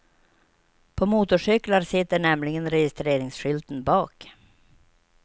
På motorcyklar sitter nämligen registreringsskylten bak.